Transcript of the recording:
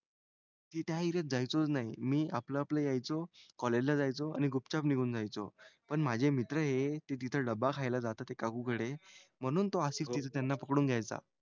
ते त्या एरियात जायचोच नाही. मी आपलं आपलं यायचो. कॉलेजला जायचो आणि गुपचाप निघून जायचो. पण माझे मित्र हे ते तिथं डब्बा खायला जातात काकूंकडे म्हणून तो आसिफ तिथं त्यांना पकडून घ्यायचा.